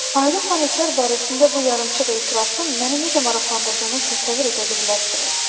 Ayrı planetlər barəsində bu yarımçıq etirafın məni necə maraqlandırdığını təsəvvür edə bilməzsiniz.